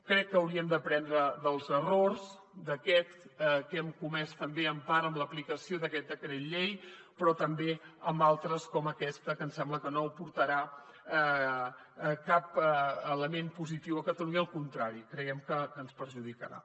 crec que hauríem d’aprendre dels errors d’aquest que hem comès també en part amb l’aplicació d’aquest decret llei però també en altres com aquest que ens sembla que no aportarà cap element positiu a catalunya al contrari creiem que ens perjudicarà